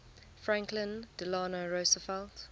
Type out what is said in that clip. franklin delano roosevelt